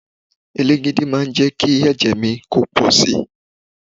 Elégède máa jẹ́ kí ẹ̀jẹ̀ mi pọ̀ si.